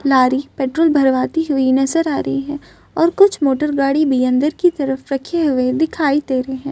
Lorry petrol भरवाती हुई नजर आ रही है और कुछ मोटरगाडी भी अंदर की तरफ रखे हुए दिखाई दे रहे है।